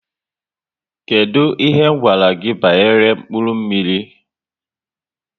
Kedụ ihe gwara gị banyere mkpụrụ mmiri?